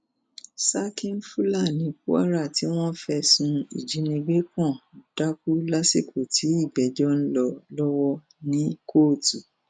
serkin fúlàní kwara tí wọn fẹsùn ìjínigbé kan dákú lásìkò tí ìgbẹjọ ń lọ lọwọ ní kóòtù